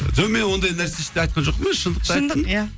жоқ мен ондай нәрсе ештеңе айтқан жоқпын ғой шындықты айттым шындық иә